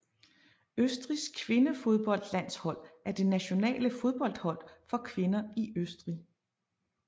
Østrigs kvindefodboldlandshold er det nationale fodboldhold for kvinder i Østrig